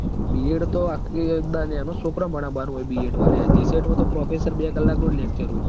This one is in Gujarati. Bed તો આ દ નેનાં સોકરાં ભણ બારમુંય Bed મ લ્યા GCET માં તો professor બે કલાકનું જ lecture હોય